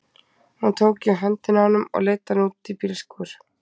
Hún tók í höndina á honum og leiddi hann út í bílskúr.